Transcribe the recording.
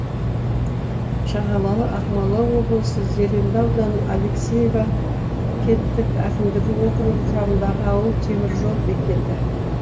шағалалы ақмола облысы зеренді ауданы алексеев кенттік әкімдігі округі құрамындағы ауыл темір жол бекеті